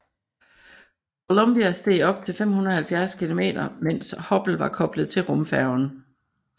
Columbia steg op til 570 km mens Hubble var koblet til rumfærgen